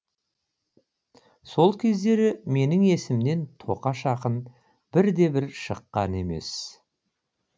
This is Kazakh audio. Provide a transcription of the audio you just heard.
сол кездері менің есімнен тоқаш ақын бірде бір шыққан емес